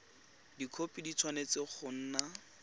dikhopi di tshwanetse go nna